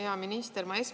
Hea minister!